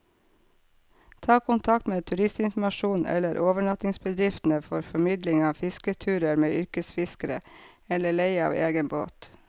Ta kontakt med turistinformasjonen eller overnattingsbedriftene for formidling av fisketurer med yrkesfiskere, eller leie av egen båt.